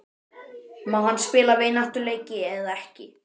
Má hann spila vináttuleiki eða ekki?